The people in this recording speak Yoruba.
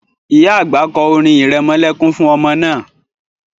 Ìyá àgbà kọ́ orin irẹmọlẹ́kún fún ọmọ náà